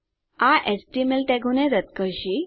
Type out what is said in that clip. આ એચટીએમએલ ટેગોને રદ કરશે